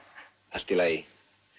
allt í lagi